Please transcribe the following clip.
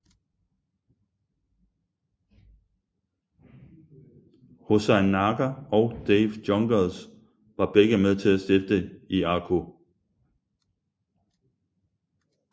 Hoosain Narker og Dave Jonkers var begge med til at stifte IAKO